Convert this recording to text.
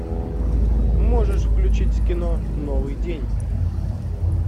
можешь включить кино новый день